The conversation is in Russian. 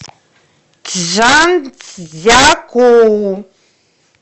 чжанцзякоу